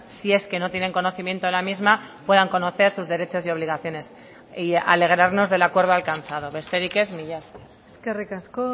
si es que no tienen conocimiento de la misma puedan conocer sus derechos y obligaciones y alegrarnos del acuerdo alcanzado besterik ez mila esker eskerrik asko